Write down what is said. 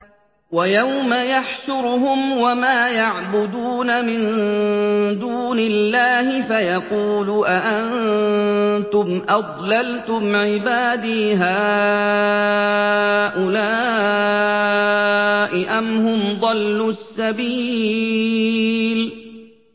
وَيَوْمَ يَحْشُرُهُمْ وَمَا يَعْبُدُونَ مِن دُونِ اللَّهِ فَيَقُولُ أَأَنتُمْ أَضْلَلْتُمْ عِبَادِي هَٰؤُلَاءِ أَمْ هُمْ ضَلُّوا السَّبِيلَ